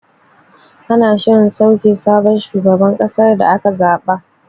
Ana shirin sauke sabon shugaban kasar da aka zaɓa.